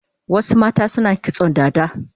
Wasu mata suna kitson dada